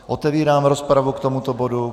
Otevírám rozpravu k tomuto bodu.